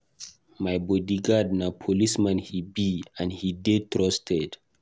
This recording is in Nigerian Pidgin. My bodyguard na policeman he be and he dey trusted.